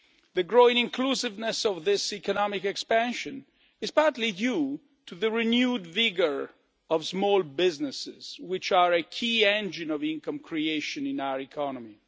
The growing inclusiveness of this economic expansion is partly due to the renewed vigour of small businesses, which are a key engine of income creation in our economy.